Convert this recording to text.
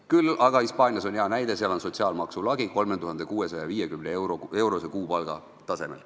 Küll aga on Hispaanias see hea asi, et seal on sotsiaalmaksu lagi 3650-eurose kuupalga tasemel.